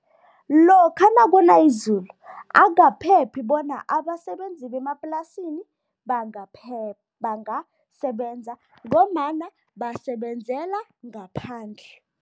Lokha nakuna izulu, akukaphephi bona abasebenzi bemaplasini bangasebenza ngombana basebenzela ngaphandle.